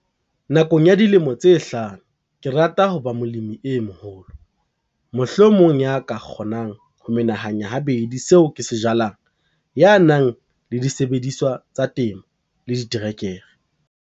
Nakong ya dilemo tse hlano ke rata ho ba molemi e moholo - mohlomong ya ka kgonang ho menahanya habedi seo ke se jalang, ya nang le disebediswa tsa temo le diterekere.